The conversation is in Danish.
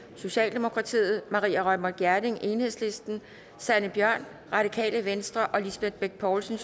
maria reumert gjerding sanne bjørn og lisbeth bech poulsen